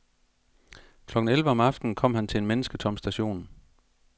Klokken elleve om aftenen kom han til en mennesketom station.